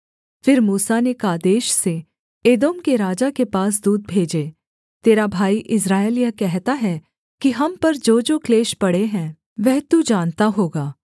फिर मूसा ने कादेश से एदोम के राजा के पास दूत भेजे तेरा भाई इस्राएल यह कहता है कि हम पर जोजो क्लेश पड़े हैं वह तू जानता होगा